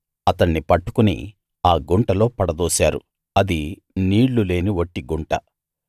అతణ్ణి పట్టుకుని ఆ గుంటలో పడదోశారు అది నీళ్ళు లేని వట్టి గుంట